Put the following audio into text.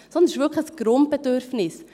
Sondern es ist wirklich ein Grundbedürfnis.